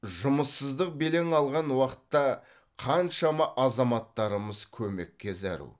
жұмыссыздық белең алған уақытта қаншама азаматтарымыз көмекке зәру